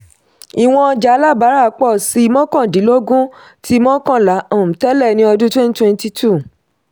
ìwọn ọjà alábárà pọ̀ sí mọ́kàndínlógún tí mọ́kànlá um tẹ̀lé ní ọdún twenty twenty-two.